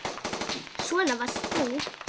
Svona varst þú.